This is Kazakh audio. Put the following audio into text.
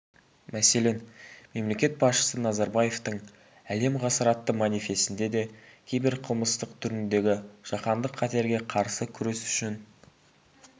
мәселен мемлекет басшысы назарбаевтың әлем ғасыр атты манифесінде де киберқылмыстылық түріндегі жаһандық қатерге қарсы күрес үшін